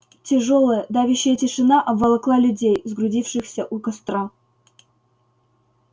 тяжёлая давящая тишина обволокла людей сгрудившихся у костра